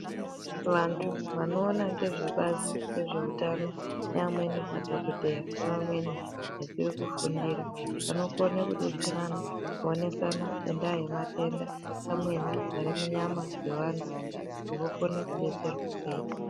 Vantu vanoona nezvebazi rezveutano nevamweni madhokodheya nevamweni vachiri kufundira vanokone kuwonesana kudetserana ngenyaya yematenda amweni ari munyama dzevantu kuti vokone kudetserwa sei.